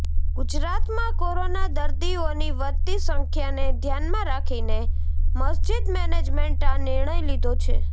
ગુજરાતમાં કોરોના દર્દીઓની વધતી સંખ્યાને ધ્યાનમાં રાખીને મસ્જિદ મેનેજમેન્ટે આ નિર્ણય લીધો છે